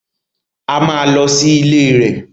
A máa lọ sí ilé rẹ̀